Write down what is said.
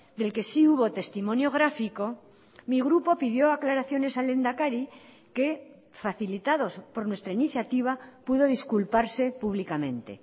del que sí hubo testimonio gráfico mi grupo pidió aclaraciones al lehendakari que facilitados por nuestra iniciativa pudo disculparse públicamente